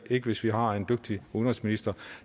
ikke hvis vi har en dygtig udenrigsminister